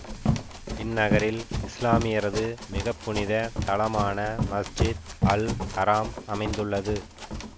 இந்நகரில் இசுலாமியரது மிகப்புனிதத் தலமான மஸ்ஜித் அல் ஹராம் அமைந்துள்ளது